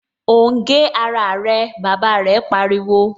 O ń gé ara rẹ! Bàbá rẹ̀ pariwo